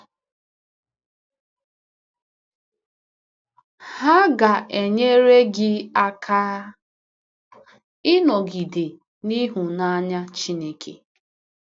Ha ga-enyere gị aka ịnọgide n’ịhụnanya Chineke.